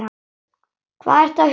Hvað ertu að hugsa?